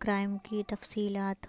crime کی تفصیلات